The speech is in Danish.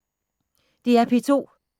DR P2